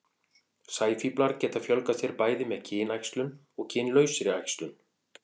sæfíflar geta fjölgað sér bæði með kynæxlun og kynlausri æxlun